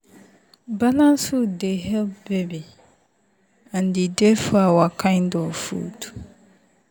balanced food dey help baby and e dey for our kind food.